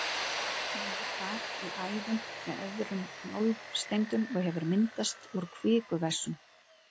Hann er þar í æðum með öðrum málmsteindum og hefur myndast úr kvikuvessum.